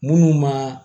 Munnu ma